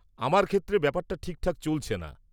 -আমার ক্ষেত্রে ব্যাপারটা ঠিকঠাক চলছে না।